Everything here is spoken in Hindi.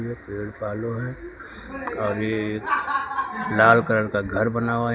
पेड़ पालो है आगे लाल कलर का घर बना हुआ है।